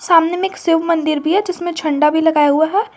सामने में शिव मंदिर भी है जिसमें झंडा भी लगाया हुआ है।